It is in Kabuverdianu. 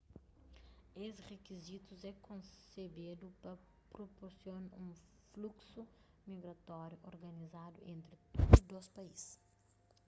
es rikizitus é konsebedu pa prupursiona un fluksu migratóriu organizadu entri tudu dôs país